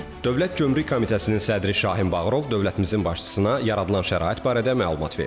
Dövlət Gömrük Komitəsinin sədri Şahin Bağırov dövlətimizin başçısına yaradılan şərait barədə məlumat verdi.